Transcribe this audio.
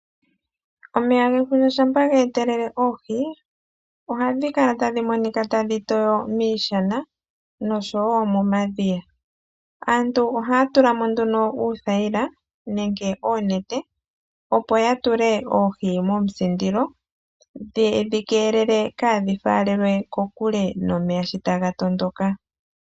Omeya gefundja shampa ge etelele oohi ohadhi kala tadhi monika tadhi toyo miishana nosho wo momadhiya. Aantu ohaya tula mo uuthayila nenge oonete, opo ya tule oohi mekondeka ye dhi keelele kaadhi faalelwe kokule nomeya shi taga tondoka.